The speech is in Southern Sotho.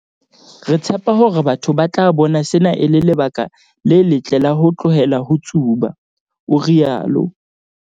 "Re tshepa hore batho ba tla bona sena e le lebaka le letle la ho tlohela ho tsuba," o rialo.